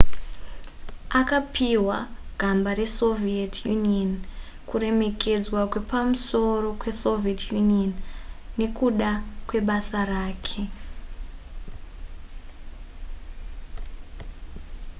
akapihwa gamba resoviet union kuremekedzwa kwepamusoro kwesoviet union nekuda kwebasa rake